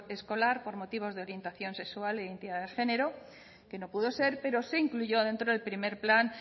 escolar por motivos de orientación sexual e identidad de género que no pudo ser pero se incluyó dentro del primero plan